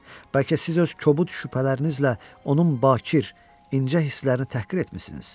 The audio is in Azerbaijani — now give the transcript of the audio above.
Bəlkə siz öz kobud şübhələrinizlə onun bakir, incə hisslərini təhqir etmisiniz?